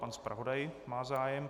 Pan zpravodaj má zájem.